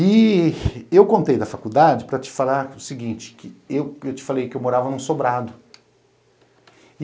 E eu contei da faculdade para te falar o seguinte, eu te falei que eu morava num sobrado.